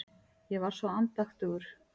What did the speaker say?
Ég var svo andaktugur.